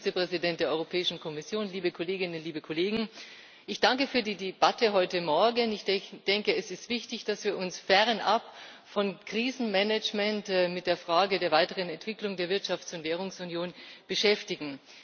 Frau Präsidentin, verehrter Herr Vizepräsident der Europäischen Kommission, liebe Kolleginnen, liebe Kollegen! Ich danke für die Debatte heute Morgen. Ich denke, es ist wichtig, dass wir uns fernab von Krisenmanagemt mit der Frage der weiteren Entwicklung der Wirtschafts und Währungsunion beschäftigen.